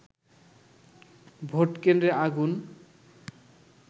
ভোটকেন্দ্রে আগুন